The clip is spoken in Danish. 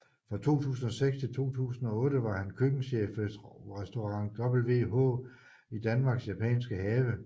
Fra 2006 til 2008 var han køkkenchef ved Restaurant WH i Danmarks Japanske Have